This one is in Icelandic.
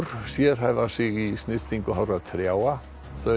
sérhæfa sig í snyrtingu hárra trjáa þau